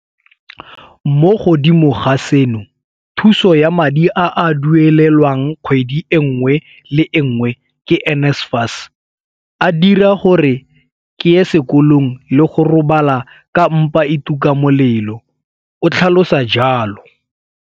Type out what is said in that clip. Mo godimo ga seno, thuso ya madi a a duelelwang kgwedi e nngwe le e nngwe ke NSFAS a dira gore ke ye sekolong le go robala ka mpa e tuka molelo, o tlhalosa jalo.